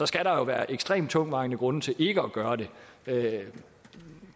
skal der være ekstremt tungtvejende grunde til ikke at gøre det